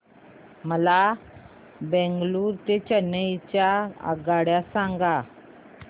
मला बंगळुरू ते चेन्नई च्या आगगाड्या सांगा